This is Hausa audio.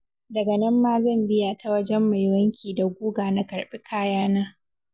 Daga nan ma zan biya ta wajen mai wanki da guga na karɓi kayana.